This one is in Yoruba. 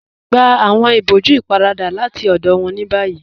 Gbà awọn ìbọ̀jú ípáràdà láti ọdọ wọn ni bayí